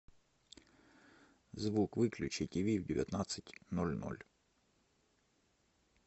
звук выключи тиви в девятнадцать ноль ноль